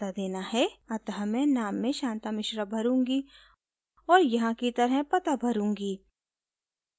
अतः मैं नाम में शांता मिश्रा भरूँगी और यहाँ की तरह पता